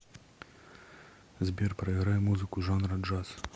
сбер проиграй музыку жанра джаз